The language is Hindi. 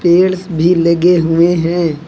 पेड्स भी लगे हुए हैं।